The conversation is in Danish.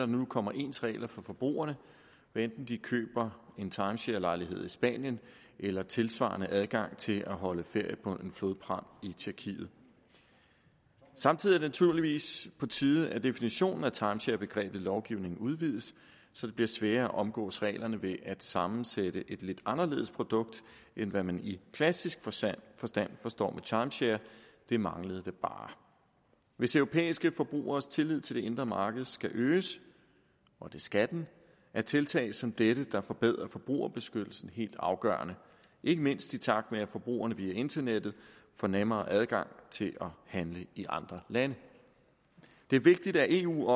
nu kommer ens regler for forbrugerne hvad enten de køber en timesharelejlighed i spanien eller tilsvarende adgang til at holde ferie på en flodpram i tjekkiet samtidig naturligvis på tide at definitionen af timesharebegrebet i lovgivningen udvides så det bliver sværere at omgå reglerne ved at sammensætte et lidt anderledes produkt end hvad man i klassisk forstand forstand forstår ved timeshare det manglede da bare hvis de europæiske forbrugeres tillid til det indre marked skal øges og det skal den er tiltag som dette der forbedrer forbrugerbeskyttelsen helt afgørende ikke mindst i takt med at forbrugerne via internettet får nemmere adgang til at handle i andre lande det er vigtigt at eu